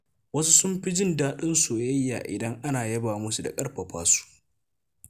Wasu sun fi jin daɗin soyayya idan ana yaba musu da ƙarfafa su.